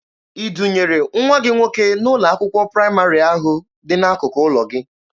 I dunyere nwa gị nwoke n'ụlọ akwụkwọ praịmarị ahụ dị n'akụkụ ụlọ gị?